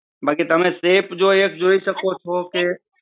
બાકી તમે safe જોઈ શકો છો કે